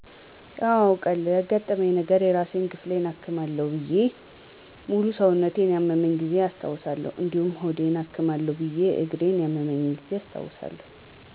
አወ አውቃለሁ ያገጠመኛ ነገረ የራስ ክፍሌን አክማለሁ ብየ ሙሉ ሰውነቴን ያመመኛ ጊዜ አስታውሳለሁ እዲሁም ሆዴን አክማለሁ ብየ እግሪን ያመመኝን ጊዜ አስታውሳለሁ።